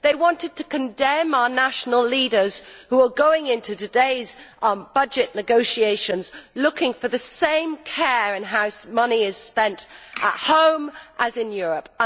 They wanted us to condemn our national leaders, who are going into today's budget negotiations looking for the same care in how money is spent at home as in Europe.